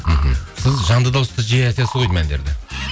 мхм сіз жанды дауыста жиі айтасыз ғой деймін әндерді